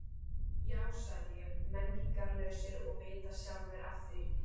Já sagði ég, menningarlausir og vita sjálfir af því.